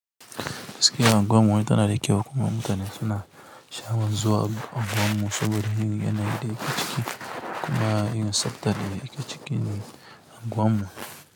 Gaskiya unguwar mu ta na da kyau kuma mutane suna sha'awan zuwa unguwar mu saboda yin yanayi da yake ciki kuma yin tsaftar da yake cikin unguwar mu.